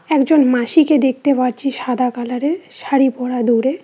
একজন মাসিকে দেখতে পাছি সাদা কালারের শাড়ি পরা দূরে।